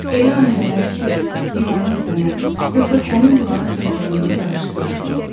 Elə an gələr ki, divarın sənə, yoxsa sənin divara söykəndiyini qarışdırarsan.